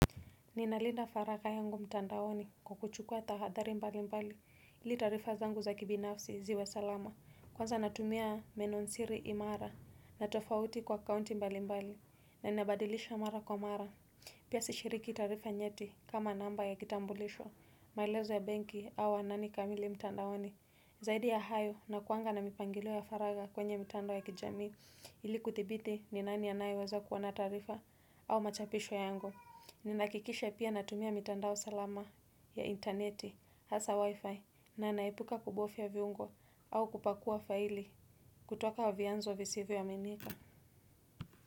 Ninalinda faraka yangu mtandaoni kwa kuchukua tahadhri mbali mbali ili tarifa zangu za kibinafsi ziwa salama kwanza natumia menon siri imara natofauti kwa kaunti mbali mbali na ninabadilisha mara kwa mara. Pia sishiriki tarifa nyeti kama namba ya kitambulisho mailezo ya benki au anani kamili mtandaoni zaidi ya hayo na kuanga na mipangilo ya faraka kwenye mtanda ya kijamiu ili kuthibiti ni nani anayaweza kuoana tarifa au machapisho yangu. Ninahakikisha pia natumia mitandao salama ya interneti hasa wifi na naipuka kubofya viungo au kupakua faili kutoka wa vianzo visivyo aminika.